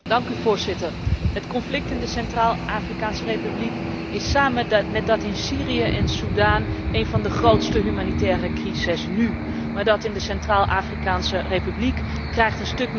Het conflict in de Centraal Afrikaanse Republiek is samen met die in Syrië en Soedan een van de grootste humanitaire crises nu, maar dat in de Centraal Afrikaanse Republiek krijgt een stuk minder aandacht.